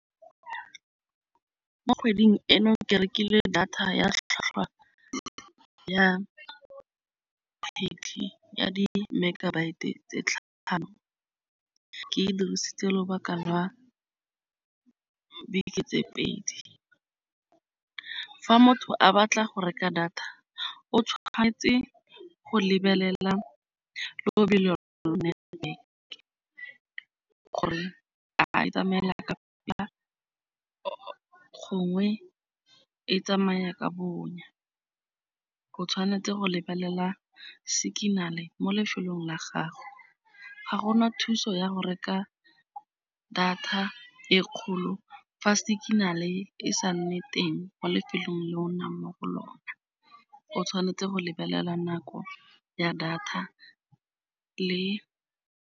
Mo kgweding eno ke rekile data ya tlhotlhwa ya ya di-megabite-e tse . Ke e dirisitse lobaka lwa beke tse pedi. Fa motho a batla go reka data, o tshwanetse go lebelela lobelo gore a e tsamaela ka pele gongwe e tsamaya ka bonya. O tshwanetse go lebelela signal-e mo lefelong la gago. Ga go na thuso ya go reka data e kgolo fa signal-e e sa nne teng mo lefelong le o nnang mo go lona. O tshwanetse go lebelela nako ya data le.